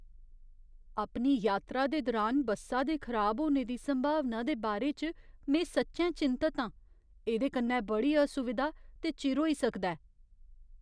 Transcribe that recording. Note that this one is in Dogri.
अपनी यात्रा दे दुरान बस्सा दे खराब होने दी संभावना दे बारे च में सच्चैं चिंतत आं, एह्दे कन्नै बड़ी असुविधा ते चिर होई सकदा ऐ।